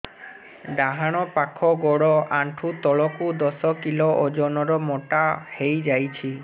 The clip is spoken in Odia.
ଡାହାଣ ପାଖ ଗୋଡ଼ ଆଣ୍ଠୁ ତଳକୁ ଦଶ କିଲ ଓଜନ ର ମୋଟା ହେଇଯାଇଛି